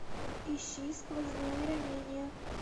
ищи сквозные ранения